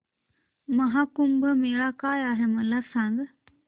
महा कुंभ मेळा काय आहे मला सांग